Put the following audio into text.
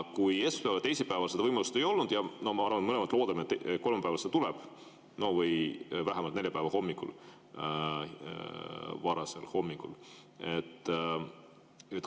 Esmaspäeval ja teisipäeval seda võimalust ei olnud ja ma arvan, me mõlemad loodame, et kolmapäeval see tuleb või vähemalt neljapäeva hommikul, varasel hommikul.